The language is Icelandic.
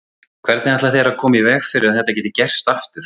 Hvernig ætla þeir að koma í veg fyrir að þetta geti gerst aftur?